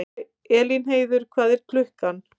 Elínheiður, hvað er klukkan?